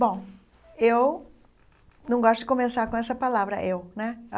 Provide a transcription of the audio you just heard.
Bom, eu não gosto de começar com essa palavra, eu né.